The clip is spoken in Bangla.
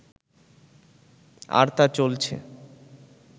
আর তা চলছে